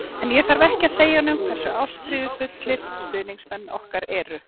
En ég þarf ekki að segja honum hversu ástríðufullir stuðningsmenn okkar eru.